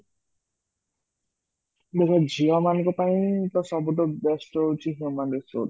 ମାନେ ଝିଅ ମାନଙ୍କ ପାଇଁ ସବୁଠୁ best ହୋଉଛି human resource